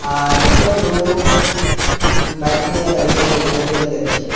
আর একজন লোক উম বাইক নিয়ে দাঁড়িয়ে সেই দোকানটিকে দেখছে।